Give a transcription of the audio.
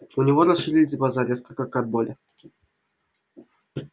у него расширились глаза резко как от боли